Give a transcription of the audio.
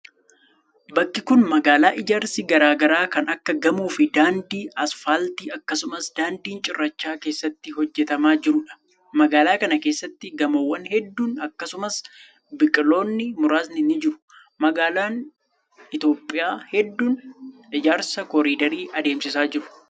Bakki kun, magaalaa ijaarsi garaa garaa kan akka gamoo fi daandii asfaaltii akkasumas daandiin cirrachaa keessatti hojjatamaa jiruu dha. Magaalaa kana keessatti gamoowwan hedduu akkasumas biqiloonni muraasni ni jiru. Magaalaonni Itoophiyaa hedduun ijaarsa kooridarii adeemsisaa jiru.